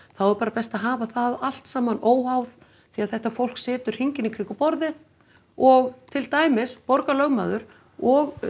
þá er bara best að hafa það allt saman óháð því þetta fólk situr hringinn í kringum borðið og til dæmis borgarlögmaður og